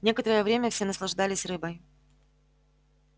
некоторое время все наслаждались рыбой